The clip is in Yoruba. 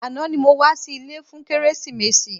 Àná ni mo wá sí ilé fún kérésìmesì.